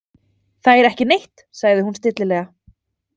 Þær ekki neitt, sagði hún stillilega.